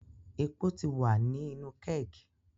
Epo ti wa ni inu keg